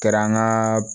Kɛra an ka